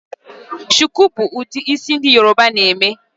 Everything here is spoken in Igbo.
shuku bu udi isi ndi yoruba na eme